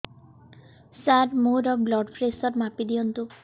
ସାର ମୋର blood pressure ମାପି ଦିଅନ୍ତୁ